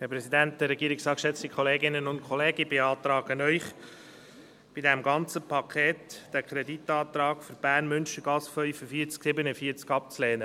Ich beantrage Ihnen, bei diesem ganzen Paket den Kreditantrag für die Münstergasse 45/47 in Bern abzulehnen.